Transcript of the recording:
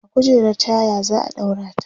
a kujerar taya zaa ɗaura ta